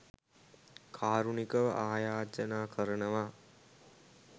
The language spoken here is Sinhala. කාරුණිකව අයාචනා කරනවා